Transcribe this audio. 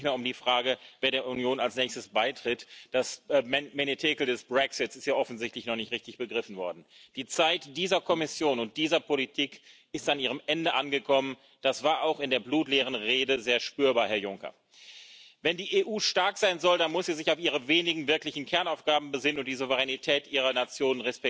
2019. Powiedzą nam o tym ludzie, wyborcy przy urnie wyborczej, przez udział w wyborach albo przez odmowę udziału i przez wskazanie polityczne. Bo Unia Europejska to nie przede wszystkim instytucje, ale poczucie sensu bycia razem, oczekiwanie namacalnych korzyści i postrzeganie Unii jako szansy, a nie źródła problemów.